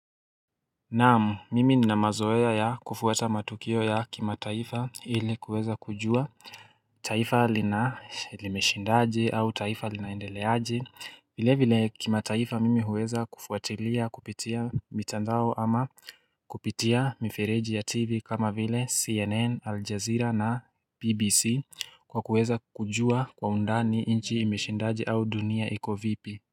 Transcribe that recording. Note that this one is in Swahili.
Naam mimi nina mazoea ya kufuata matukio ya kimataifa ili kuweza kujua taifa lina limeshindaje au taifa linaendeleaje vile vile kimataifa mimi huweza kufuatilia kupitia mitandao ama kupitia mifereji ya tv kama vile cnn aljaazira na bbc kwa kuweza kujua kwa undani nchi imeshindaje au dunia iko vipi.